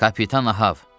Kapitan Ahav.